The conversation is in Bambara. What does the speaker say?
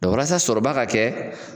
walasa sɔrɔba ka kɛ